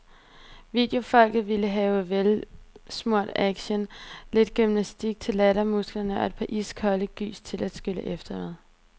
Videofolket vil have velsmurt action, lidt gymnastik til lattermusklerne og et par iskolde gys til at skylle efter med.